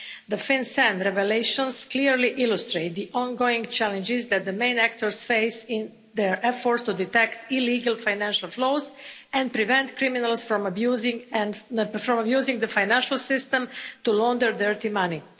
The FinCEN revelations clearly illustrate the ongoing challenges that the main actors face in their efforts to detect illegal financial flows and prevent criminals from using the financial system to launder dirty money.